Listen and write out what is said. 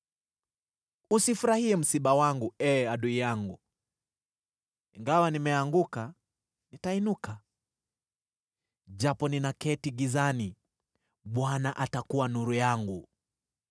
Usifurahie msiba wangu, ee adui yangu! Ingawa nimeanguka, nitainuka. Japo ninaketi gizani, Bwana atakuwa nuru yangu.